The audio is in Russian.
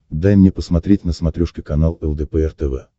дай мне посмотреть на смотрешке канал лдпр тв